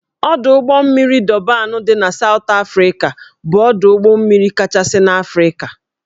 Ọdụ ụgbọ mmiri Dọban dị na Sawt Afrịka bụ ọdụ ụgbọ mmiri kachasị n'Afrịka